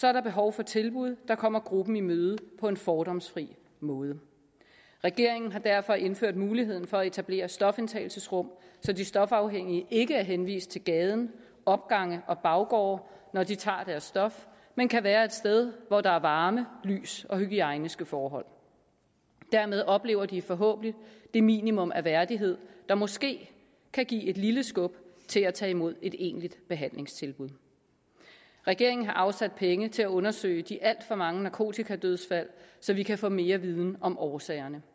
er der behov for tilbud der kommer gruppen i møde på en fordomsfri måde regeringen har derfor indført muligheden for at etablere stofindtagelsesrum så de stofafhængige ikke er henvist til gaden opgange og baggårde når de tager deres stof men kan være et sted hvor der er varme lys og hygiejniske forhold dermed oplever de forhåbentlig det minimum af værdighed der måske kan give et lille skub til at tage imod et egentligt behandlingstilbud regeringen har afsat penge til at undersøge de alt for mange narkotikadødsfald så vi kan få mere viden om årsagerne